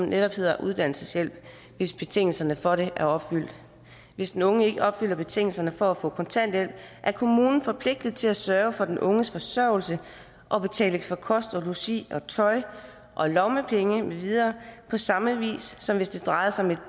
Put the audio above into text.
netop hedder uddannelseshjælp hvis betingelserne for det er opfyldt hvis den unge ikke opfylder betingelserne for at få kontanthjælp er kommunen forpligtet til at sørge for den unges forsørgelse og betale for kost og logi og tøj og lommepenge med videre på samme vis som hvis det drejer sig om et